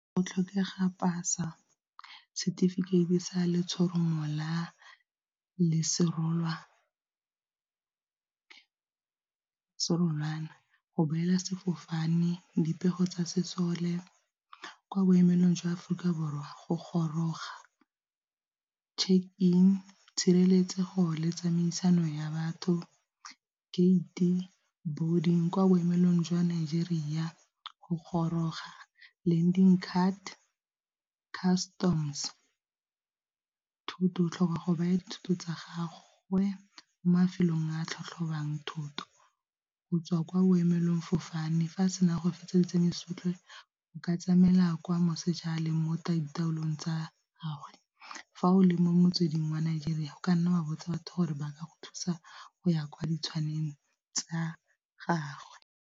Go tlhokega pass-a setefikeiti sa letshoroma la serololwana, go boela sefofane, dipego tsa sesole. Kwa boemelong jwa Aforika Borwa, go goroga check in, tshireletsego le tsamaisano ya batho, gate boarding kwa boemelong jwa Nigeria, go goroga landing card, customs thoto o tlhoka go baya thoto tsa gagwe mo mafelong a tlhotlhobang thoto go tswa kwa boemelong fofane, fa a sena go fetsa tseno tsotlhe go ka tsamaya la kwa moseja a le mo ditaolong tsa , fa o le mo metsweding wa Nigeria o ka nna ba botsa batho gore ba ka go thusa go ya kwa ditshwaneng tsa gagwe.